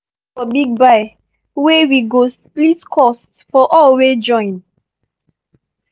we go vote for big buy weh we go split cost for all wey join.